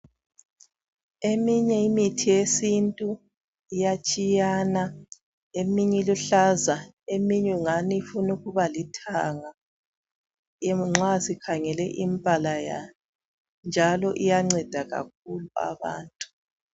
Eminye imithi yesintu iyatshiyana eminye iluhlaza eminye ingani ifuna ukuba lithanga nxa sikhangele imibala yayo njalo iyanceda kakhulu abantu.